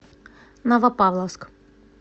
новопавловск